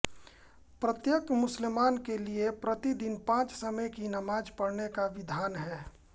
प्रत्येक मुसलमान के लिए प्रति दिन पाँच समय की नमाज पढ़ने का विधान है